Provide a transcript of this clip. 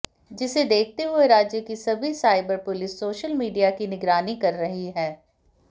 जिसे देखते हुए राज्य की सभी साइबर पुलिस सोशल मीडिया की निगरानी कर रही हैं